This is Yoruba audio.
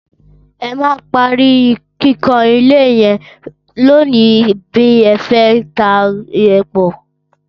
Ẹ máa parí kíkàn ilé yẹn lónìí bẹ́ẹ fẹ́ tàbí ẹ kọ̀!